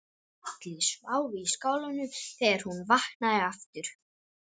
Allir sváfu í skálanum þegar hún vaknaði aftur.